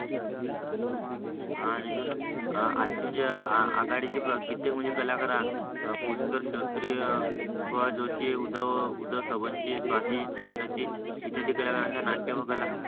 आणि जुना आजचे म्हणजे आघाडीचे कित्येक कला करा पुष्कर शास्त्री सुभाष जोशी उद्धव सर्वांशे साठे चिटणीस इत्यादी कलाकरांचा नाट्य व कला